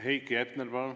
Heiki Hepner, palun!